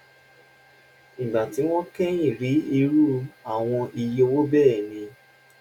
ìgbà tí wọ́n kẹ́yìn rí irú àwọn iye owó bẹ́ẹ̀ ni